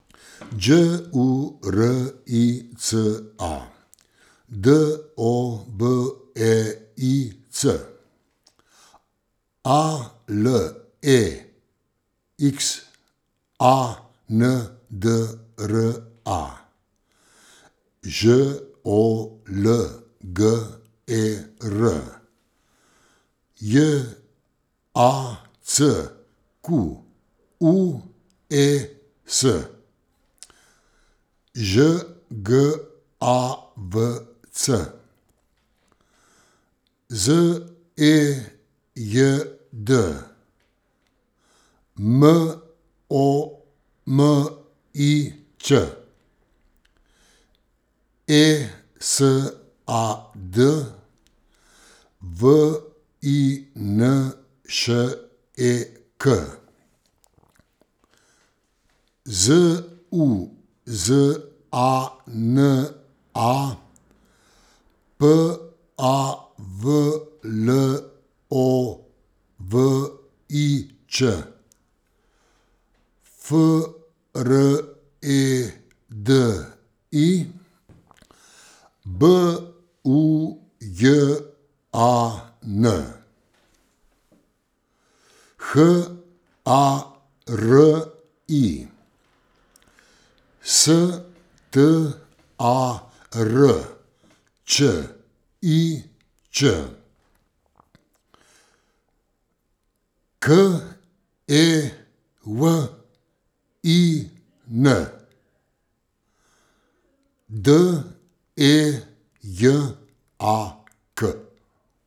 Đ U R I C A, D O B E I C; A L E X A N D R A, Ž O L G E R; J A C Q U E S, Ž G A V C; Z E J D, M O M I Ć; E S A D, V I N Š E K; Z U Z A N A, P A V L O V I Č; F R E D I, B U J A N; H A R I, S T A R Č I Č; K E W I N, D E J A K.